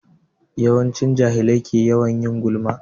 Yawanci jahilai ke yawan yin gulma.